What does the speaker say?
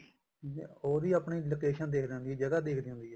ਉਹ ਵੀ ਆਪਣੀ location ਦੇਖਦੀ ਹੁੰਦੀ ਆ ਜਗ੍ਹਾ ਦੇਖਦੀ ਹੁੰਦੀ ਆ